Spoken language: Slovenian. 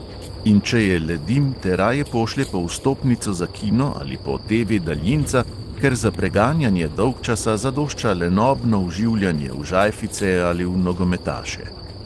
In če je le dim, te raje pošlje po vstopnico za kino ali po TV-daljinca, ker za preganjanje dolgčasa zadošča lenobno vživljanje v žajfice ali v nogometaše.